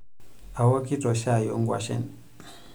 Aokito shai onkwashen.